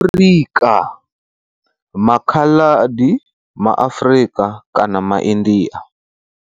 Afrika, maKhaladi MaAfrika kana maIndia.